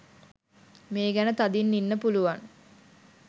මේ ගැන තදින් ඉන්න පුලුවන්